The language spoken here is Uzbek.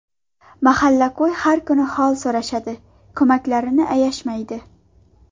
Mahalla-ko‘y har kuni hol so‘rashadi, ko‘maklarini ayashmaydi.